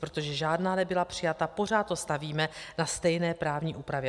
Protože žádná nebyla přijata, pořád to stavíme na stejné právně úpravě.